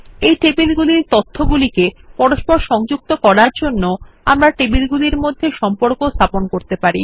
এই টেবিল গুলির তথ্য সংযুক্ত করার জন্যে আমরা টেবিলগুলির মধ্যে সম্পর্ক স্থাপন করতে পারি